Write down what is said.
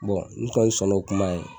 ne kɔni sɔn n'o kuma ye.